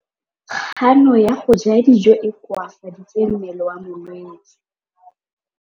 Kganô ya go ja dijo e koafaditse mmele wa molwetse.